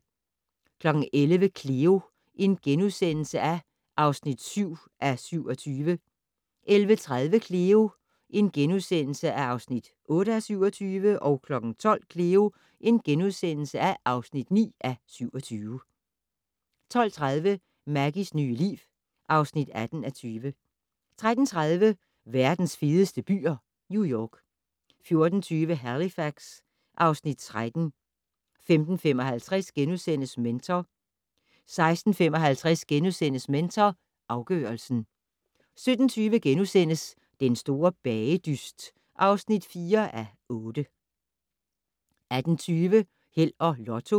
11:00: Cleo (7:27)* 11:30: Cleo (8:27)* 12:00: Cleo (9:27)* 12:30: Maggies nye liv (18:20) 13:30: Verdens fedeste byer - New York 14:20: Halifax (Afs. 13) 15:55: Mentor * 16:55: Mentor afgørelsen * 17:20: Den store bagedyst (4:8)* 18:20: Held og Lotto